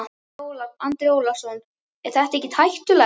Andri Ólafsson: Er þetta ekkert hættulegt?